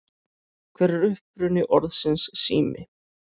Hver er uppruni orðsins sími?